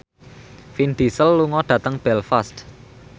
Vin Diesel lunga dhateng Belfast